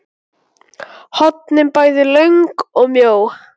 hornin bæði löng og mjó.